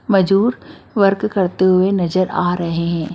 मजूर वर्क करते हुए नजर आ रहे हैं।